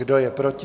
Kdo je proti?